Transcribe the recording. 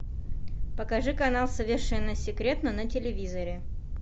покажи канал совершенно секретно на телевизоре